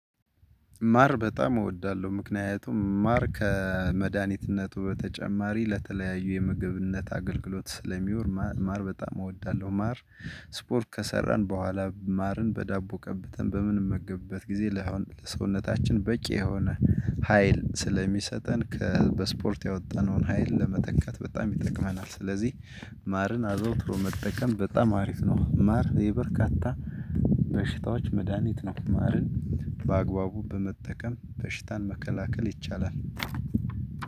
ማር በጣም እወዳለሁ ምክንያቱም ማር ከመድኃኒትነቱ በተጨማሪ ለተለያዩ የምግብነት አገልግሎት ስለሚወር ማር በጣም እወዳለሁ ማር። ስፖርት ከሰራን በኋላ ማርን በዳቦ ቀበተን በምንም መገበት ጊዜ። ለሰውነታችን በቂ የሆነ ሀይል ስለሚሰጠን ከበስፖርት ያወጣነውን ሀይል ለመተካት በጣም ይጠቅመናል። ስለዚህ ማርን አዘውትሮ መጠቀም በጣም አሪፍ ነው። ማር የበርካታ በሽታዎች መድሃኒት ነው። ማርን በአግባቡ በመጠቀም በሽታን መከላከል ይቻላል።